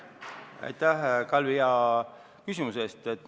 Aitäh, Kalvi, hea küsimuse eest!